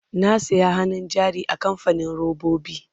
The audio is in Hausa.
na saya hannun jari a kamfanin robobi